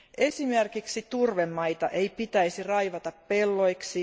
Esimerkiksi turvemaita ei pitäisi raivata pelloiksi.